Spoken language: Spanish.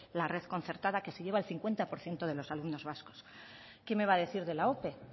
la red concertada que se lleva el cincuenta por ciento de los alumnos vascos qué me va a decir de la ope